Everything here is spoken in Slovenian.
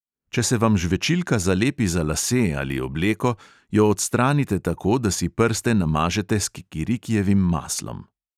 Če se vam žvečilka zalepi za lase ali obleko, jo odstranite tako, da si prste namažete s kikirikijevim maslom.